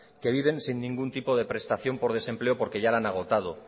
que viven sin ningún tipo de prestación por desempleo porque ya la han agotado